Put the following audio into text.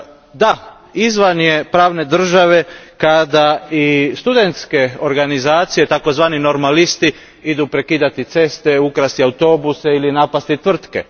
Da, izvan je pravne države kada i studentske organizacije, takozvani normalisti, idu prekidati ceste, ukrasti autobuse ili napasti tvrtke.